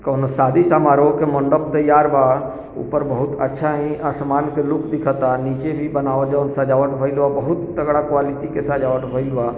कोनो शादी समारोह के मंडप तैयार बा ऊपर बहुत अच्छा ही आसमान के लुक दिखता नीचे भी बनावल जोवन सजावट भइल बा बहुत तगड़ा क्वालिटी के सजावट भइल। बा।